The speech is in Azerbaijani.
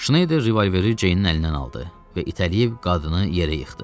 Şneyder revolveri Ceynin əlindən aldı və itələyib qadını yerə yıxdı.